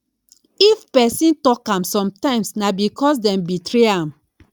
if persin talk am sometimes na because dem betray am